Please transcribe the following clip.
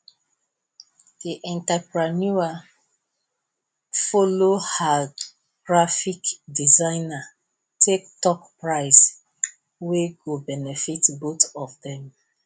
the entrepreneur follow her graphic designer take talk price wey go benefit both of them